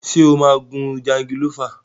Ṣé o máa gun jangilófà?